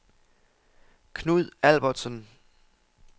Knud Albertsen